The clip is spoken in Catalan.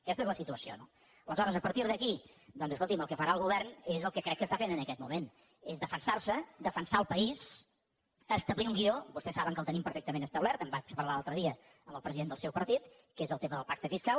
aquesta és la situació no aleshores a partir d’aquí doncs escolti’m el que farà el govern és el que crec que està fent en aquest moment és defensar se defensar el país establir un guió vostès saben que el tenim perfectament establert en vaig parlar l’altre dia amb el president del seu partit que és el tema del pacte fiscal